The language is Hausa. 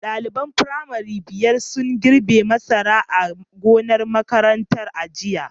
Daliban firamare biyar sun girbe masara a gonar makarantar a jiya.